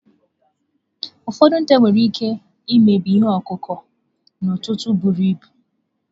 Ụfọdụ nte nwere ike imebi ihe ọkụkụ n'ọtụtụ buru ibu.